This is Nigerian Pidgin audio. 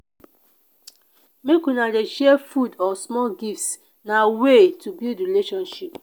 make una dey share food or small gifts na way to build relationship.